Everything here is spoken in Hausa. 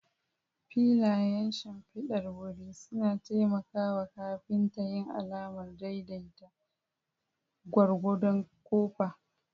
Filayen shimfidar wuri suna taimaka wa kafinta yin alamar daidai gwargwadon kofa.